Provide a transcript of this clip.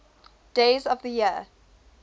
days of the year